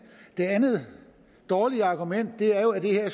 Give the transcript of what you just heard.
det andet dårlige argument er jo at det her